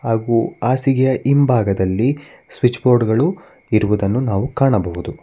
ಹಾಗೂ ಹಾಸಿಗೆಯ ಹಿಂಭಾಗದಲ್ಲಿ ಸ್ವಿಚ್ ಬೋರ್ಡ್ ಗಳು ಇರುವುದನ್ನು ನಾವು ಕಾಣಬಹುದು.